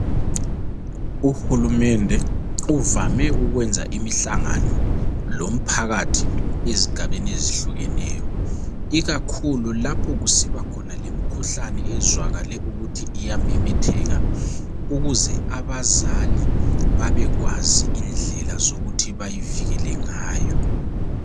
Uhulumende uvame ukwenza imihlangano lomphakathi ezigabeni ezihlukeneyo, ikakhulu lapho kusiba khona lemkhuhlane ezwakale ukuthi iyamemetheka ukuze abazali babekwazi indlela zokuthi bayivikele ngayo.